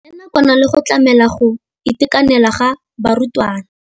Ya nakwana le go tlamela go itekanela ga barutwana.